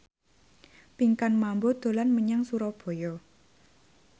Pinkan Mambo dolan menyang Surabaya